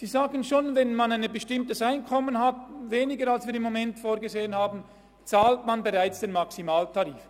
Sie sagen, dass man bereits ab einem geringeren Einkommen als zurzeit vorgesehen den Maximaltarif bezahlt.